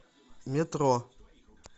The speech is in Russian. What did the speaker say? метро